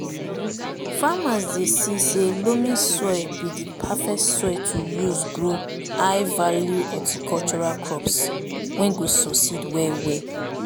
farmers dey see say loamy soil be di perfect soil to use grow high value horticultural crops wey go succeed well well